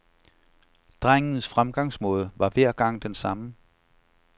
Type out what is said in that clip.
Drengens fremgangsmåde var hver gang den samme.